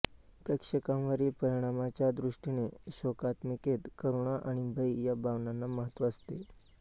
प्रेक्षकांवरील परिणामाच्या दृष्टीने शोकात्मिकेत करुणा आणि भय या भावनांना महत्त्व असते